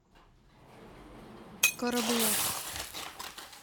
карабулак